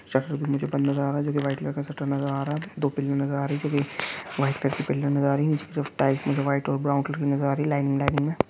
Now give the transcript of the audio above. shutter कुछ मुझे बंद नज़र आ रहा है जोकि वाइट कलर का शटर नज़र आ रहा है दो पिलर नज़र आ रही है जोकि वाइट कलर के पिलर नज़र आ रही है नीचे की तरफ टाइल्स मुझे वाइट और ब्राउन कलर की नज़र आ रही है लाइनिंग लाइनिंग में --